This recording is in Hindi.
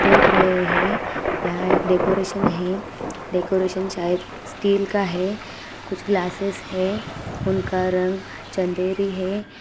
देख रहे है यहाँ एक डेकोरेशन है| डेकोरेशन शायद स्टील का है कुछ ग्लासिस है उनका रंग चँदेरी हे।